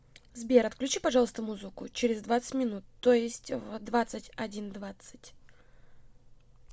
сбер отключи пожалуйста музыку через двадцать минут то есть в двадцать один двадцать